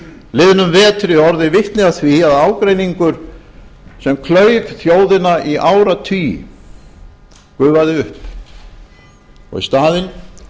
liðnum vetri orðið vitni að því að ágreiningur sem klauf þjóðina í áratugi gufaði upp og í staðinn